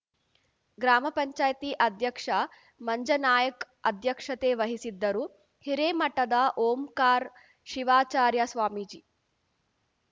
ಗ್ರಾಮ ಪಂಚಾಯತಿ ಅಧ್ಯಕ್ಷ ಮಂಜನಾಯ್ಕ್ ಅಧ್ಯಕ್ಷತೆ ವಹಿಸಿದ್ದರು ಹಿರೇಮಠದ ಓಂಕಾರ್ ಶಿವಾಚಾರ್ಯ ಸ್ವಾಮೀಜಿ